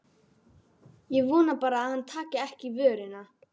Ég vona bara að hann taki ekki í vörina.